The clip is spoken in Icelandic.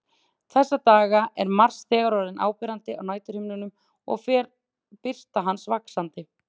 Þessa dagana er Mars þegar orðinn áberandi á næturhimninum og fer birta hans vaxandi.